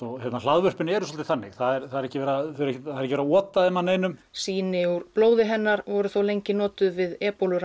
hlaðvörpin eru svolítið þannig það er ekki verið að ota þeim að neinum sýni úr blóði hennar voru þó notuð við